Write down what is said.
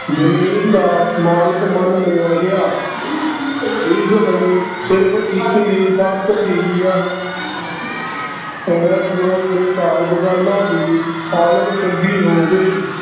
ਜ਼ਮੀਨ ਦਾ ਮਾਲਕ ਮੰਨ ਲਿਆ ਗਿਆ ਇਸ ਲਈ ਸਿਰਫ਼ ਇੱਕ ਹੀ ਦੇ ਕਾਰਨ ਕਿਸਾਨਾਂ ਦੀ ਹਾਲਤ ਚੰਗੀ ਹੋ ਗਈ।